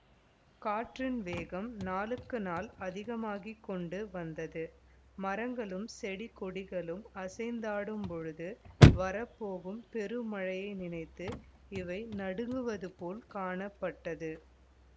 காற்றின் வேகம் நாளுக்கு நாள் அதிகமாகிக்கொண்டு வந்தது மரங்களும் செடிகொடிகளும் அசைந்தாடும்போது வரப்போகும் பெரு மழையை நினைத்து இவை நடுங்குவது போல காணப்பட்டது